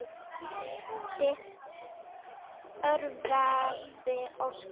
Þitt örverpi Óskar.